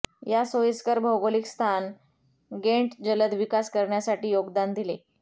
या सोयीस्कर भौगोलिक स्थान घेंट जलद विकास करण्यासाठी योगदान दिले